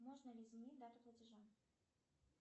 можно ли изменить дату платежа